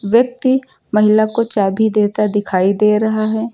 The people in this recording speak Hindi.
व्यक्ति महिला को चाभी देता दिखाई दे रहा है।